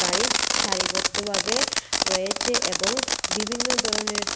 সারিবদ্ধভাবে রয়েছে এবং বিভিন্ন ধরনের স্ক--